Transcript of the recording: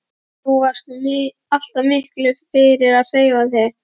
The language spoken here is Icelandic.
Þú varst nú alltaf mikið fyrir að hreyfa þig?